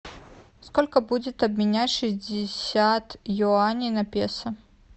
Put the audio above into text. сколько будет обменять шестьдесят юаней на песо